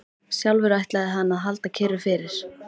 Sjálfur ætlaði hann að halda kyrru fyrir.